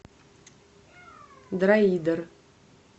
дроидер